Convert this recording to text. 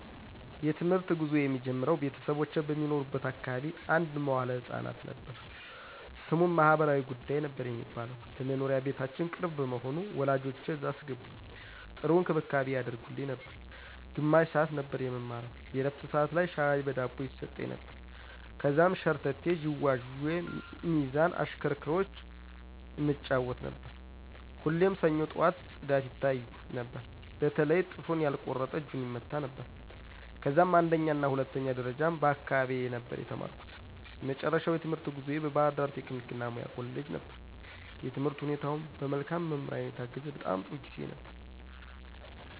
የ ትምህርት ጉዞየ የሚጀምረው ቤተሰቦቼ በሚኖሩበት አካባቢ አንድ መዋለ ህፃናት ነበር። ስሙም ማህበራዊ ጉዳይ ነበር የሚባለው። ለ መኖሪያ ቤታችን ቅርብ በመሆኑ ወላጆቼ እዛ አስገቡኝ .ጥሩ እንክብካቤ ያደርጉልን ነበር። ግማሽ ሰዓት ነበር የምንማረው የ ዕረፍት ሠዓት ላይ ሻይ በ ዳቦ ይሰጠን ነበር። ከዛም ሸርተቴ, ዥዋዥዌ, ሚዛን ,እሽክርክሮሽ እንጫወት ነበር። ሁሌም ሰኞ ጠዋት ፅዳት ይታያል በተለይ ጥፍሩን ያልቆረጠ እጁን ይመታ ነበረ። ከዛም አንደኛና ሁለተኛ ደረጃም በ አካባቢየ ነበር የተማርኩ። የመጨረሻው የትምህርት ጉዞየ ባ ህርዳር ቴክኒክ እና ሙያ ኮሌጅ ነበር። የትምህርት ሁኔታውም በ መልካም መምህራን የታገዘ በጣም ጥሩ ጊዜ ነበር።